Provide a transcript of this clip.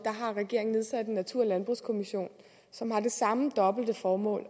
har regeringen nedsat en natur og landbrugskommission som har det samme dobbelte formål